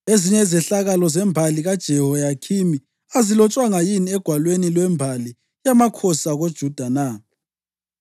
Ezinye izehlakalo zembali kaJehoyakhimi azilotshwanga yini egwalweni lwembali yamakhosi akoJuda na?